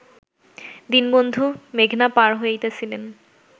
দীনবন্ধু মেঘনা পার হইতেছিলেন